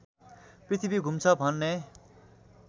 पृथ्वी घुम्छ भन्ने